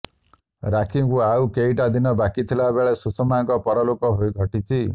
ରାକ୍ଷୀକୁ ଆଉ କେଇଟା ଦିନ ବାକିଥିଲା ବେଳେ ସୁଷମାଙ୍କ ପରଲୋକ ଘଟିଛି